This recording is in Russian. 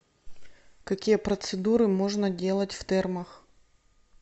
какие процедуры можно делать в термах